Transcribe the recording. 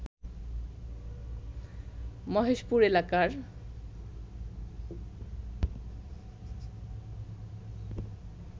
মহেশপুর এলাকার